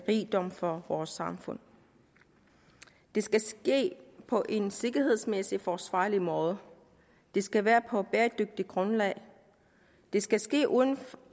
rigdom for vores samfund det skal ske på en sikkerhedsmæssig forsvarlig måde det skal være på et bæredygtigt grundlag det skal ske uden